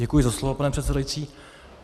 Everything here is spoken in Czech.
Děkuji za slovo, pane předsedající.